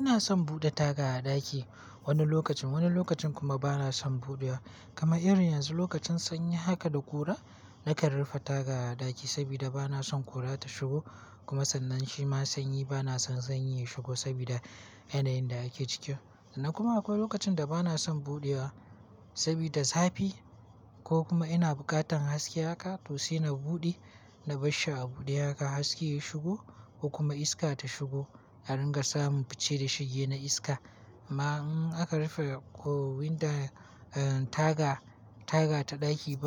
Ina son buɗe taga a ɗaki wani lokacin, wani lokacin kuma bana son buɗewa. Kama irin yanzu lokacin sanyi haka da ƙura, nakan rufe taga a ɗaki saboda bana son ƙura ta shigo. Kuma sannan shi ma sanyi bana son sanyi ya shigo saboda yanayin da ake ciki. Kuma akwai lokacin da bana son buɗewa saboda zafi ko kuma ina bukatan haske haka to sai na buɗe. Na bar shi a buɗe haka haske ya shigo ko kuma iska ta shigo aringa samu fice da shige na iska. Amma in aka rufe ko windon taga, taga ta ɗaki